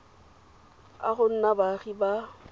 a go nna baagi ba